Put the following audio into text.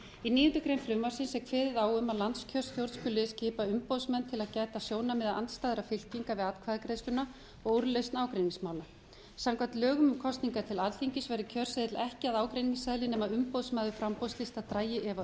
í níundu grein frumvarpsins er kveðið á um að landskjörstjórn skuli skipa umboðsmenn til að gæta sjónarmiða andstæðra fylkinga við atkvæðagreiðsluna og úrlausn ágreiningsmála samkvæmt lögum um kosningar til alþingis verður kjörseðill ekki að ágreiningsefni nema umboðsmaður framboðslista dragi úrskurð